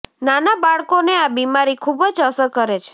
નાના બાળકોને આ બીમારી ખુબ જ અસર કરે છે